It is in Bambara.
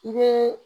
I bɛ